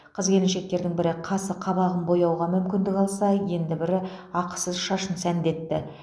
қыз келіншектердің бірі қасы қабағын бояуға мүмкіндік алса енді бірі ақысыз шашын сәндетті